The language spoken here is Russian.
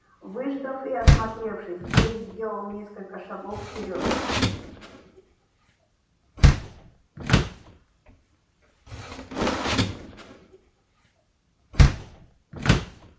выждав и осмотревшись зверь сделал несколько шагов вперёд